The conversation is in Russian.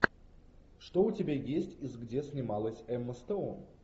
что у тебя есть из где снималась эмма стоун